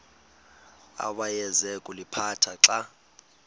awayeza kuliphatha xa